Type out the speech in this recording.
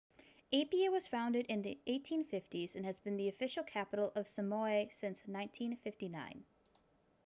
apia was founded in the 1850s and has been the official capital of samoa since 1959